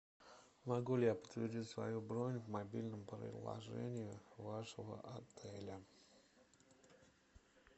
могу ли я подтвердить свою бронь в мобильном приложении вашего отеля